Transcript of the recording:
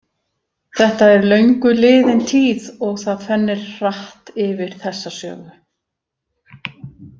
Þetta er löngu liðin tíð og það fennir hratt yfir þessa sögu.